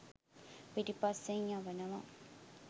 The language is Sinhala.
පිටිපස්‌සෙන් යවනවා.